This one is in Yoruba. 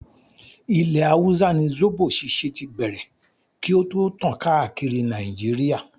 Ilẹ̀ hausa ni zobo ṣíṣe tí bẹ̀rẹ̀ kí o tó tàn káàkiri Nàìjíríà.